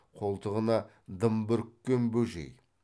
қолтығына дым бүріккен бөжей